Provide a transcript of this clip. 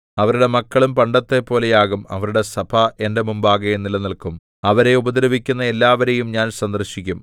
അവരുടെ മക്കളും പണ്ടത്തെപ്പോലെയാകും അവരുടെ സഭ എന്റെ മുമ്പാകെ നിലനില്ക്കും അവരെ ഉപദ്രവിക്കുന്ന എല്ലാവരെയും ഞാൻ സന്ദർശിക്കും